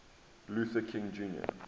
luther king jr